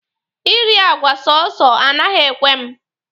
I ri àgwà sọsọ anaghị ekwe mụ.